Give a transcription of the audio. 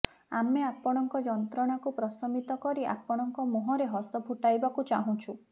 ଆମେ ଆପଣଙ୍କ ଯନ୍ତ୍ରଣାକୁ ପ୍ରଶମିତ କରି ଆପଣଙ୍କ ମୁହଁରେ ହସ ଫୁଟାଇବାକୁ ଚାହୁଁଛୁ